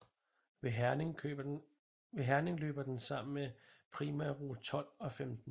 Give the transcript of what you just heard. Ved Herning løber den sammen med primærrute 12 og 15